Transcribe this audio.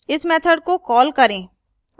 इस method को call करें